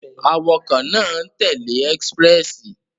Awakọ̀ náà n tẹle Expréssi